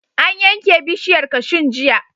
An yanke bishiyar kashun jiya.